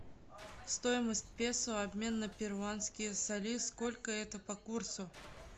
стоимость песо обмен на перуанские соли сколько это по курсу